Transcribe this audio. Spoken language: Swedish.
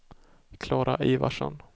Klara Ivarsson